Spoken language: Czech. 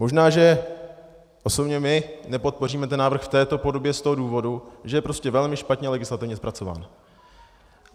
Možná že osobně my nepodpoříme ten návrh v této podobě z toho důvodu, že je prostě velmi špatně legislativně zpracován.